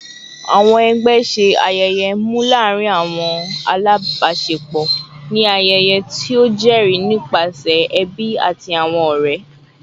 Awọn ẹgbẹ ṣe ayẹyẹ mnu laarin awọn alabaṣepọ ni ayẹyẹ ti o jẹri nipasẹ ẹbi ati awọn ọrẹ